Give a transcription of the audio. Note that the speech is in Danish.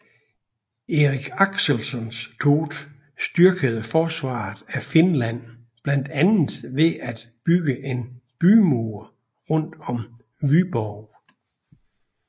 Erik Axelsson Thott styrkede forsvaret af Finland blandt andet ved at bygge en bymur rundt om Vyborg